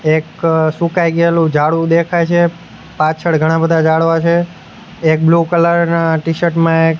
એક સુકાઈ ગેલુ જાડવું દેખાય છે પાછળ ઘણા બધા જાડવા છે એક બ્લુ કલર ના ટીશર્ટ માં --